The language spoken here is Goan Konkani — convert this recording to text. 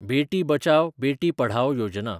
बेटी बचाव, बेटी पढाओ योजना